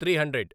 three hundred